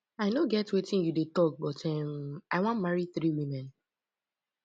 i no get wetin you dey talk but um i wan marry three women